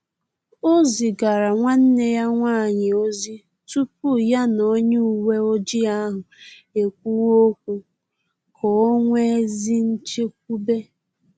Ọ zigara nwanne ya nwanyị ozi tupu ya na onye uweojii ahụ ekwuwe okwu, ka o nwee ezi nchekwube